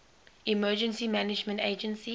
emergency management agency